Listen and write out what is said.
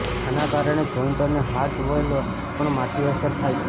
આના કારણે જોઇન્ટ અને હાર્ટ વોલ્વ પણ માઠી અસર થાય છે